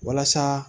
Walasa